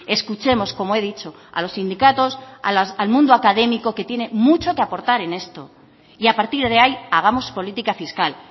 escuchemos como he dicho a los sindicatos al mundo académico que tiene mucho que aportar en esto y a partir de ahí hagamos política fiscal